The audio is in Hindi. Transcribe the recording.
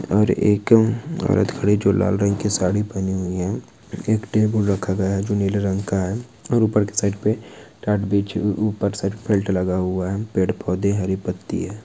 और एक औरत खड़ी है जो लाल रंग की साड़ी पहनी हुई है। एक टेबल रखा गया है जो नीले रंग का है और ऊपर के साइड पे टाट बिछी ऊपर साइड लगा हुआ है। पेड़-पौधे हैं हरी पत्ती है।